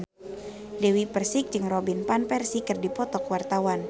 Dewi Persik jeung Robin Van Persie keur dipoto ku wartawan